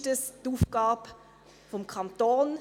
Ist das die Aufgabe des Kantons?